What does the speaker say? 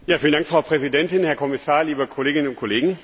Frau Präsidentin, Herr Kommissar, liebe Kolleginnen und Kollegen!